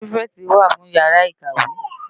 Pirifèti wá fún iyàrá ikáwé